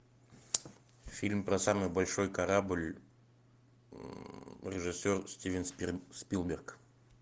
фильм про самый большой корабль режиссер стивен спилберг